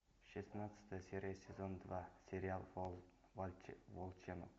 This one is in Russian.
шестнадцатая серия сезон два сериал волчонок